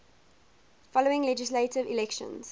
following legislative elections